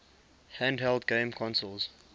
handheld game consoles